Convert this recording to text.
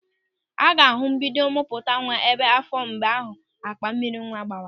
A ga-ahụ mbido mpụta nwa ebu n'áfọ̀ mgbe akpa mmiri nwa gbawara.